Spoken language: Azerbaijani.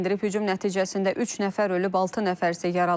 Hücum nəticəsində üç nəfər ölüb, altı nəfər isə yaralanıb.